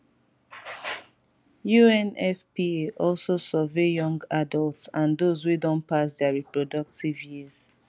unfpa also survey young adults and those wey don pass dia reproductive years